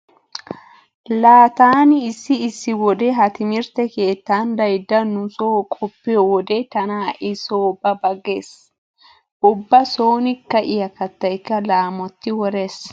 Laa taani issi issi wode ha timirtte keettan daydda nu nuso qoppiyo wode tana ha"i so ba ba giissees. Ubba sooni ka'iya kattaykka laamotti worees.